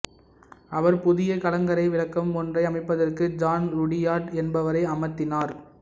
அவர் புதிய கலங்கரை விளக்கம் ஒன்றை அமைப்பதற்கு ஜான் ருடியார்ட் என்பவரை அமர்த்தினார்